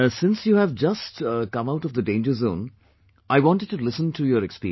Since you just came out of the danger zone, I wanted to listen to your experience